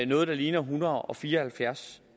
noget der ligner en hundrede og fire og halvfjerds